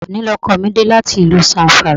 Òní ni ọkọ mi dé láti ìlú Zamfara